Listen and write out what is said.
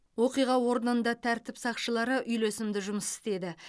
оқиға орнында тәртіп сақшылары үйлесімді жұмыс істеді